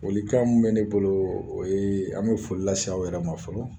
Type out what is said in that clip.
Folikan mun bɛ ne bolo o ye an bɛ foli lase aw yɛrɛ ma fɔlɔ